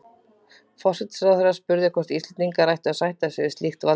Forsætisráðherra spurði, hvort Íslendingar ættu að sætta sig við slíkt valdboð